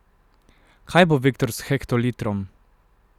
Kaj bo Viktor s hektolitrom?